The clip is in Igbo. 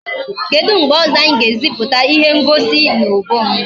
Kedu mgbe ọzọ anyị ga-eziputa ihe ngosi n'obom?